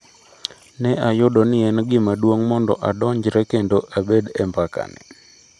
Ne ayudo ni en gima duong’ mondo adonjre kendo abed e mbaka ni''.